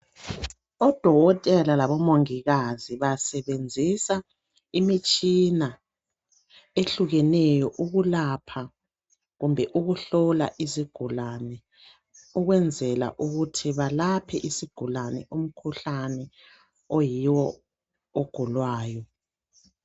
Odokotela labo mongikazi basebenzisa imitshina ehlukeneyo ukulapha kumbe ukuhlola izigulane ukwenzela ukuthi balaphe isigulane umkhuhlane oyiwo ogulwayo